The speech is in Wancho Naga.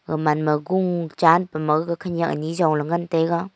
gamanma gung chanpuma gaga khanyak anyi jongla ngantaga.